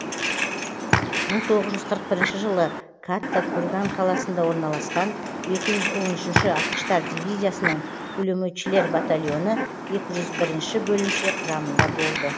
мың тоғыз жүз қырық бірінші жылы катта курган қаласында орналасқан екі жүз он үшінші атқыштар дивизиясының пулеметшілер батальоны екі жүз бірінші бөлімше құрамында болды